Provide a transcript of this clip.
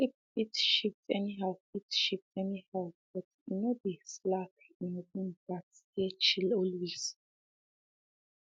sleep fit shift anyhow fit shift anyhow but e no dey slack en room gats stay chill always